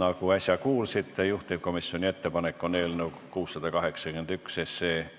Nagu äsja kuulsite, juhtivkomisjoni ettepanek on eelnõu 681